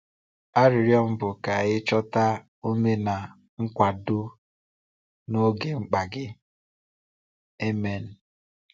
Arịrịọ m bụ ka i chọta ume na nkwado n’oge mkpa gị. Amen.